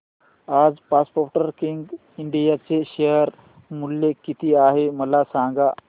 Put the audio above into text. आज Sportking India चे share मूल्य किती आहे मला सांगा